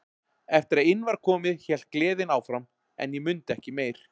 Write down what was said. Eftir að inn var komið hélt gleðin áfram en ég mundi ekki meir.